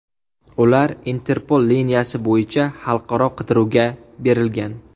Ular Interpol liniyasi bo‘yicha xalqaro qidiruvga berilgan.